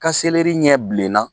Ka seleri ɲɛ bilenna